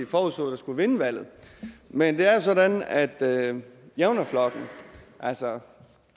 forudså skulle vinde valget men det er jo sådan at at javnaðarflokkurin altså